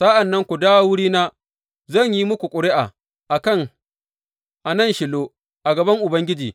Sa’an nan ku dawo wurina, zan yi muku ƙuri’a a nan Shilo a gaban Ubangiji.